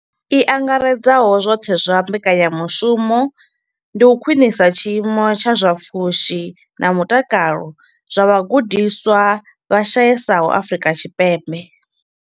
I angaredzaho zwoṱhe ya mbekanyamushumo ndi u khwinisa tshiimo tsha zwa pfushi na mutakalo zwa vhagudiswa vha shayesaho Afrika Tshipembe.